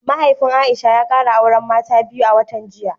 Mahaifin Aisha ya kara auren mata biyu a watan jiya